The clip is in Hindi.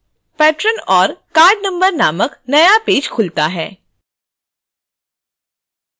patron और card number नामक नया पेज खुलता है